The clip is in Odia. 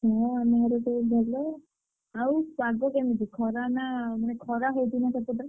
ହଁ ଆମ ଘରେ ସେଇ ଭଲ, ଆଉ ପାଗକେମିତି ଖରା ନା ମାନେ ଖରା ହଉଥିବ ନା ସେପଟେ?